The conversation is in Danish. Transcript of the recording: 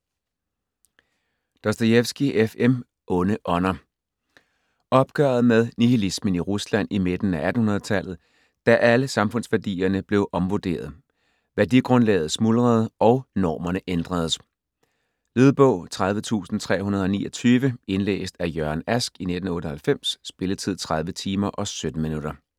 Dostojevskij, F. M.: Onde ånder Opgøret med nihilismen i Rusland i midten af 1800-tallet, da alle samfundsværdierne blev omvurderet, værdigrundlaget smuldrede og normerne ændredes. Lydbog 30329 Indlæst af Jørgen Ask, 1998. Spilletid: 30 timer, 17 minutter.